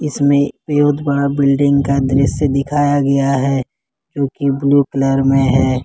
इसमें बहोत बड़ा बिल्डिंग का दृश्य दिखाया गया है जो कि ब्लू कलर में है।